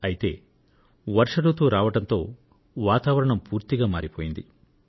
అయితే వర్ష రుతువు రావడంతో వాతావరణం పూర్తిగా మారిపోయింది